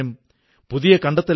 വളരെ ശുഭാശംസകൾ